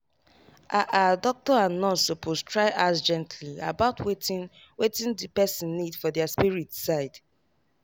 ah ah doctor and nurse suppose try ask gently about wetin wetin the person need for their spirit side.